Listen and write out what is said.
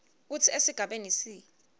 kutsi esigabeni c